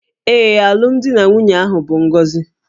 Ee, alụmdi na nwunye ahụ bụ ngọzi